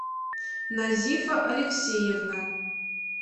назифа алексеевна